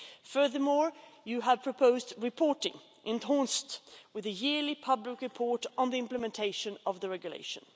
Furthermore, you have proposed reporting with the yearly public report on the implementation of the regulation.